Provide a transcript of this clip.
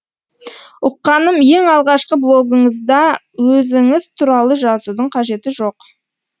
ұққаным ең алғашқы блогыңызда өзіңіз туралы жазудың қажеті жоқ